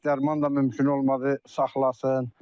Heç dərman da mümkün olmadı saxlasın.